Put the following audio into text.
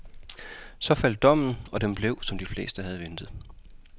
Så faldt dommen, og den blev, som de fleste havde ventet.